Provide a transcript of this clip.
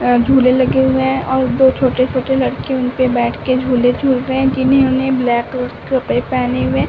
और झूले लगे हुए हैं और दो छोटे-छोटे लड़के उनपे बैठ के झूले झूल रहे हैं। ने ब्लैक के कपड़े पहने हुए हैं।